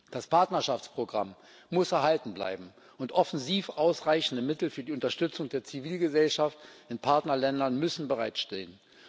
Das Partnerschaftsprogramm muss erhalten bleiben, und offensiv ausreichende Mittel für die Unterstützung der Zivilgesellschaft in Partnerländern müssen bereitstehen.